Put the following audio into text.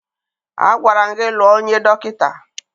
Agwara m gị lụọ onye dọkịta!